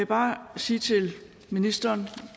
bare sige til ministeren